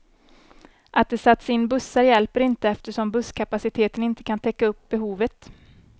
Att det satts in bussar hjälper inte, eftersom busskapaciteten inte kan täcka upp behovet.